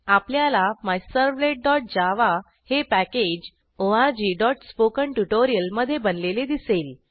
आपल्याला MyServletjavaहे पॅकेज orgस्पोकेंट्युटोरियल मधे बनलेले दिसेल